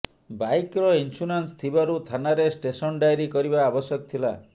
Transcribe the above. ବାଇକ୍ର ଇନ୍ସ୍ୟୁରାନ୍ସ ଥିବାରୁ ଥାନାରେ ଷ୍ଟେସନ ଡାଏରି କରିବା ଆବଶ୍ୟକ ଥିଲା